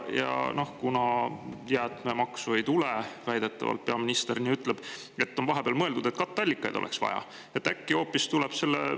Ja kuna jäätmemaksu ei tule – väidetavalt, peaminister nii ütleb –, on vahepeal mõeldud, et katteallikaid oleks vaja.